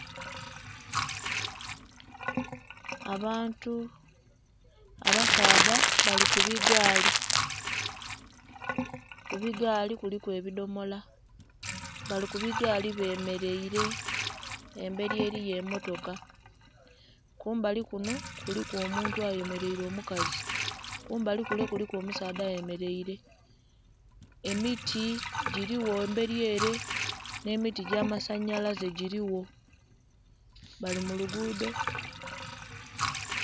Abantu abasaadha bali ku bigaali, ku bigaali kuliku ebidhomola. Bali ku bigaali bemeleile, embeli eliyo emmotoka, kumbali kunho kuliku omuntu ayemeleile omukazi. Kumbali kule kuliku omusaadha ayemeleile. Emiti giiligho emberi ele nh'emiti egy'amasanhalaze giiligho, bali mu luguudho.